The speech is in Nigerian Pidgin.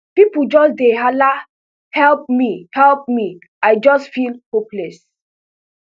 pipo just dey halahelp me help me i just feel hopeless